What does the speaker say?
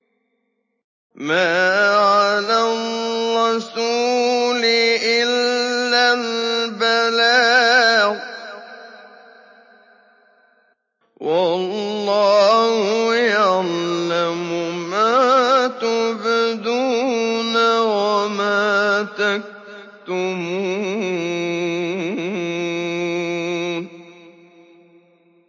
مَّا عَلَى الرَّسُولِ إِلَّا الْبَلَاغُ ۗ وَاللَّهُ يَعْلَمُ مَا تُبْدُونَ وَمَا تَكْتُمُونَ